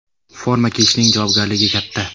Forma kiyishning javobgarligi katta.